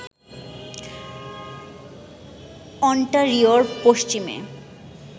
অন্টারিওর পশ্চিমে